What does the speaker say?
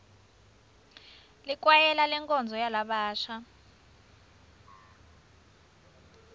likwayela lenkonzo yalabasha